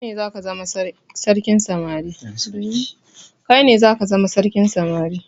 Kaine zaka zama sarkin samari